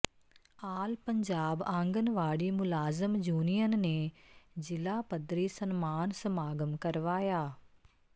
ਆਲ ਪੰਜਾਬ ਆਂਗਣਵਾੜੀ ਮੁਲਾਜ਼ਮ ਯੂਨੀਅਨ ਨੇ ਜ਼ਿਲ੍ਹਾ ਪੱਧਰੀ ਸਨਮਾਨ ਸਮਾਗਮ ਕਰਵਾਇਆ